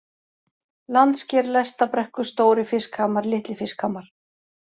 Landsker, Lestabrekkur, Stóri-Fiskhamar, Litli-Fiskhamar